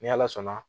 Ni ala sɔnna